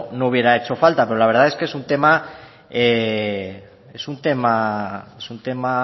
no hubiera hecho falta pero la verdad es que es un tema es un tema es un tema